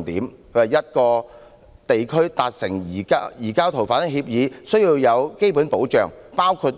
他認為要和一個地區達成移交逃犯協議，需要有"基本保障"，包括